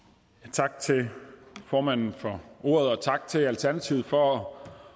tak til formanden for ordet og tak til alternativet for at